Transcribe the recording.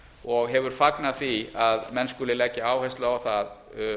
og hefur fagnað því að menn skuli leggja áherslu á það